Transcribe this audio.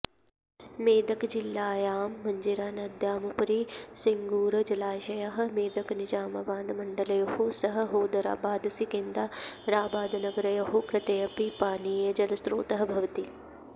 मेदकजिल्लायां मञ्जीरा नद्यामुपरि सिङ्गूर जलाशयः मेदकनिजामाबाद मण्डलयोः सह हौदाराबाद्सिकिन्दाराबादनगरयोः कृतेऽपि पानीयजलस्रोतः भवति